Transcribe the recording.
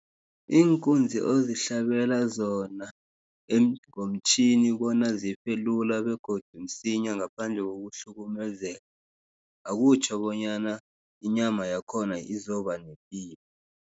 Iinkunzi ozihlabela zona ngomtjhini bona zifelula begodu msinya, ngaphandle kokuhlukumeza, akutjho bonyana inyama yakhona izobanepilo.